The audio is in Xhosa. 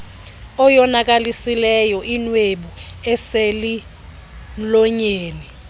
oyonakalisileyo inwebu eselmlonyeni